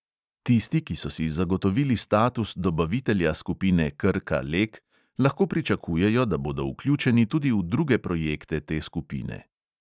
Tisti, ki so si zagotovili status dobavitelja skupine krka - lek, lahko pričakujejo, da bodo vključeni tudi v druge projekte te skupine.